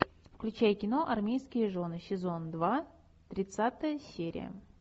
включай кино армейские жены сезон два тридцатая серия